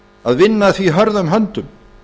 að vinna að því hörðum höndum